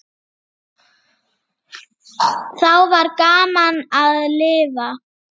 Þá var gaman að lifa.